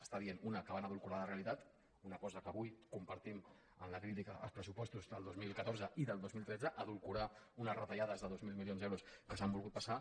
està dient una que van edulcorar la realitat una cosa que avui compartim en la crítica als pressupostos del dos mil catorze i del dos mil tretze edulcorar unes retallades de dos mil milions d’euros que s’han volgut passar